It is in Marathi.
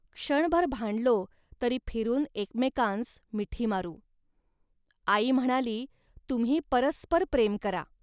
क्षणभर भांडलो, तरी फिरून एकमेकांस मिठी मारू. .आई म्हणाली, "तुम्ही परस्पर प्रेम करा